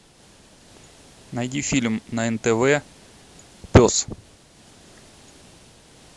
найди фильм на нтв пес